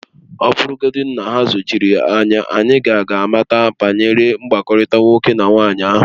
Ọ bụrụgodị na ha ezochiri ya, anyị ka ga-amata banyere mkpakọrịta nwoke na nwaanyị ahụ